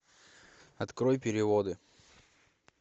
открой переводы